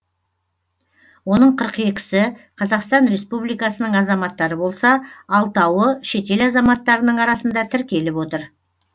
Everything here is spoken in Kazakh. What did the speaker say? оның қырық екісі қазақстан республикасының азаматтары болса алтауы шетел азаматтарының арасында тіркеліп отыр